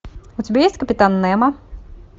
у тебя есть капитан немо